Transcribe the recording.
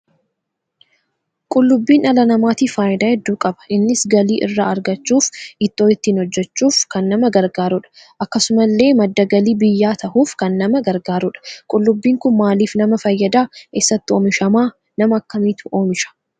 Qullubbiin dhala namaatiif faayidaa hedduu qaba. innis galii irraa argachuuf ittoo ittiin hojjechuuf kan nama gargaaruudha. akkasumallee madda galii biyyaa tahuuf kan nama gargaaruudha. qullubbiin Kun maaliif nama fayyada? eessatti oomishama ?nama akkamiitu oomisha?